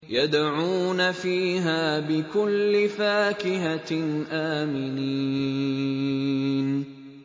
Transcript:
يَدْعُونَ فِيهَا بِكُلِّ فَاكِهَةٍ آمِنِينَ